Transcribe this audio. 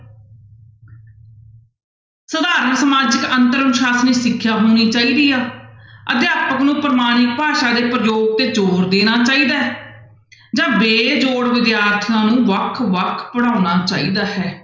ਸਧਾਰਨ ਸਮਾਜਿਕ ਅੰਤਰ ਅਨੁਸ਼ਾਸ਼ਨੀ ਸਿੱਖਿਆ ਹੋਣੀ ਚਾਹੀਦੀ ਆ, ਅਧਿਆਪਕ ਨੂੂੰ ਪ੍ਰਮਾਣਿਕ ਭਾਸ਼ਾ ਦੇ ਪ੍ਰਯੋਗ ਤੇ ਜ਼ੋਰ ਦੇਣਾ ਚਾਹੀਦਾ ਹੈ ਜਾਂ ਬੇਜੋੜ ਵਿਦਿਆਰਥੀਆਂ ਨੂੰ ਵੱਖ ਵੱਖ ਪੜ੍ਹਾਉਣਾ ਚਾਹੀਦਾ ਹੈ।